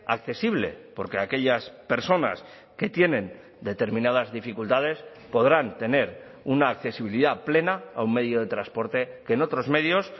accesible porque aquellas personas que tienen determinadas dificultades podrán tener una accesibilidad plena a un medio de transporte que en otros medios